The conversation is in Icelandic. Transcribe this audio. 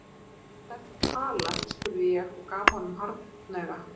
Um hvað ertu að tala spurði ég og gaf honum hornauga.